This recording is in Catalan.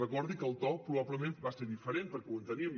recordi que el to probablement va ser diferent perquè ho enteníem